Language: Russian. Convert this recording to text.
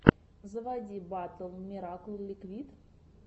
заводи батл миракл ликвид